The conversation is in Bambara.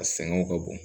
A sɛgɛnw ka bon